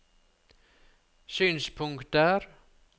synspunkter